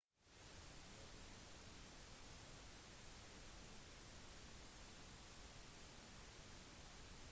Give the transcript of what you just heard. piloten ble identifisert som dilokrit pattavee lederen av squadron